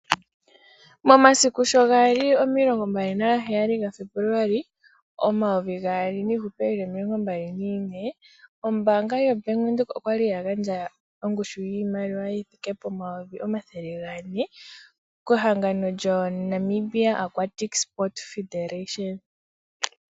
Omasiku shogali omilongombali nagaaali ga Febuluali omayovi gaali nomilongombali nane ombaanga yaVenduka okwali gandja ongushu yiimaliwa yithike pomayovi omathele gane kehangano lyo Namibia Aquatic Sports Federation.